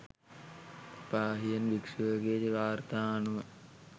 පාහියන් භික්‍ෂුවගේ වාර්තා අනුව